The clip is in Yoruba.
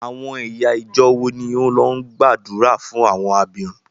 Àwọn ẹ̀yà ìjọọ̀ wo ni ó lọ gbàdúrà fún àwọn abirùn?